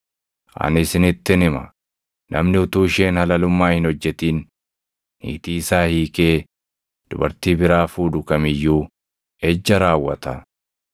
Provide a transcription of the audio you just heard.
Ani isinittin hima; namni utuu isheen halalummaa hin hojjetin niitii isaa hiikee dubartii biraa fuudhu kam iyyuu ejja raawwata.”